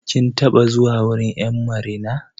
Kin taɓa zuwa wurin 'yan marina.